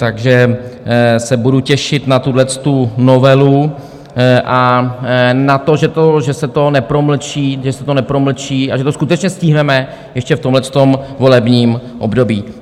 Takže se budu těšit na tuhle novelu a na to, že se to nepromlčí a že to skutečně stihneme ještě v tomhle volebním období.